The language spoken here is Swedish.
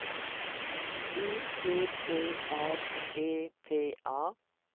U P P R E P A